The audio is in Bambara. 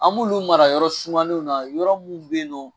An b'olu mara yɔrɔ sumanenw na yɔrɔ minnu bɛ yen nɔ